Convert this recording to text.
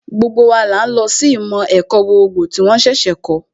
Gbogbo wa là ń lọ sí ìmọ̀ ẹ̀kọ́ gbogbogbò tí wón ṣẹ̀ṣẹ̀ kọ̀ọ́